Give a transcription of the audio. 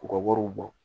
K'u ka wariw bɔ